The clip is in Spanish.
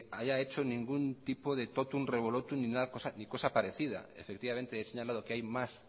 haya hecho ningún tipo de totum revolotum ni cosa parecida efectivamente he señalado que hay más